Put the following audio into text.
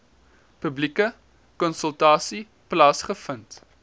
publieke konsultasie plaasgevind